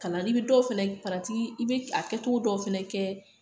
Kalani i bɛ dɔw fana i bɛ a kɛcogo dɔw fana kɛ